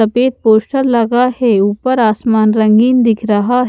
सफेद पोस्टर लगा है ऊपर आसमान रंगीन दिख रहा है।